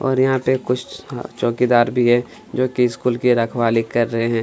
और यहाँ पे कुछ चोंकीदार भी है जोकि स्कूल की रखवाली कर रहै हैं।